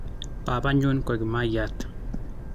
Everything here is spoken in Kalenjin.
Baabanyun ko kimayaat.